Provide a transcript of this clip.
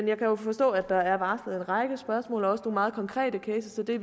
jeg kan forstå at der er varslet en række spørgsmål og også nogle meget konkrete cases og det